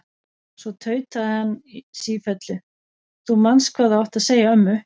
Svo tautaði hann sífellu: Þú manst hvað þú átt að segja ömmu!